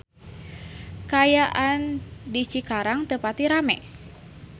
Kaayaan di Cikarang teu pati rame